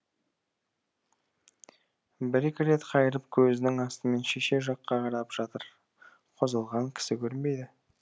бір екі рет қайырып көзінің астымен шеше жаққа қарап жатыр қозғалған кісі көрінбейді